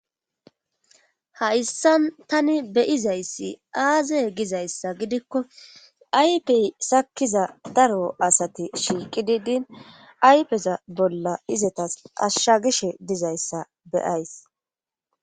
hayssan tani beyizayssi aazey gizayssa gidikko aypey sakkiza daro asati shiiqi di din aypeza bolla izetas ashshagishe dizayssa beyays